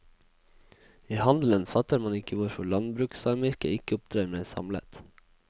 I handelen fatter man ikke hvorfor landbrukssamvirket ikke opptrer mer samlet.